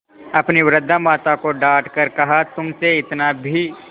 अपनी वृद्धा माता को डॉँट कर कहातुमसे इतना भी